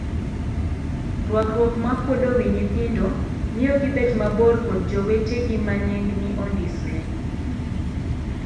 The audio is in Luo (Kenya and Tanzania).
Ruakruok ma kuodo wii nyithindo miyo gibet mabor kod jowetegima nenggi ondisore.